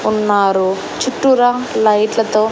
ఉన్నారు చుట్టూరా లైట్లతో --